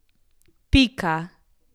Pika.